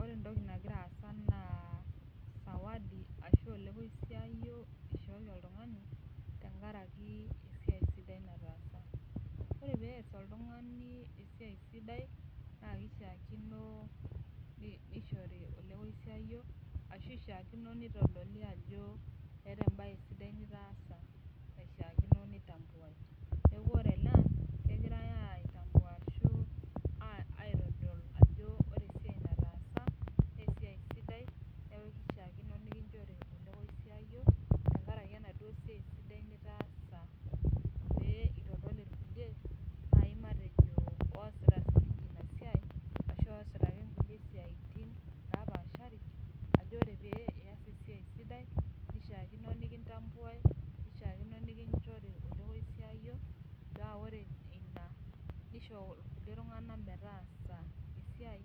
Ore entoki nagira aasa naa sawadi ashu olekoisiayio tenkaraki esiai sidai ore peas oltungani esiai sidai neishiakino nishori olekoisiayo ashu itodoli ajo eeta embae sidai nitaasa naishiakino nitambuai Ore ele egirai atambua neitodoli ajo etaasa esiai sidai pee itodol ilkulie oosita ina siai ashu kulie siatin ajo ore peee ias esiai sidai nishaakino nikinjori olekosiayo naa ore ina nisho kulie tungana metaasa esiai